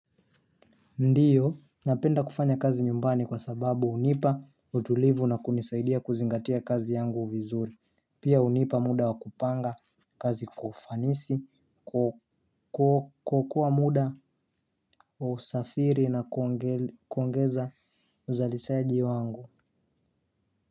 Ndiyo, napenda kufanya kazi nyumbani kwa sababu hunipa utulivu na kunisaidia kuzingatia kazi yangu vizuri. Pia hunipa muda wa kupanga kazi kufanisi kukua muda wa usafiri na kuongeza uzalishaji wangu.